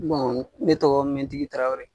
Bɔn ne tɔgɔ mintigi tarawele